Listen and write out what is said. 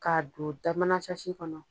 K'a don da mana kɔnɔ